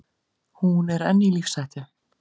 Hún er enn í lífshættu.